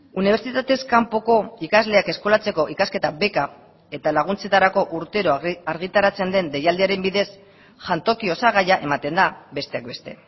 unibertsitatez kanpoko ikasleak eskolatzeko ikasketa beka eta laguntzetarako urtero argitaratzen den deialdiaren bidez jantoki osagaia ematen da besteak beste